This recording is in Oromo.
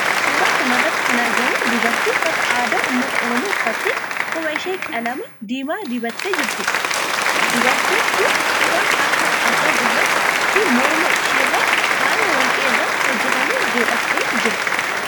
Suuraa kana irratti kana agarru dubartii uffata aadaa ummata oromoo uffattee quba ishee qalama diimaa dibattee jirtudha. Dubartiin tun quba harkaa afran irraa fi morma ishee irraa faaya warqee irraa hojjatame godhattee jirti.